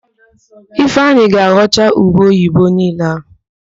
Ifeanyị ga-aghọcha ube oyibo niile ahụ